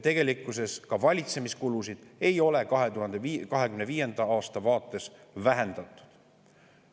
Ka valitsemiskulusid ei ole 2025. aasta vaates vähendatud.